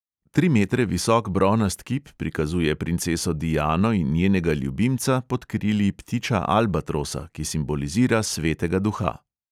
Tri metre visok bronast kip prikazuje princeso diano in njenega ljubimca pod krili ptiča albatrosa, ki simbolizira svetega duha.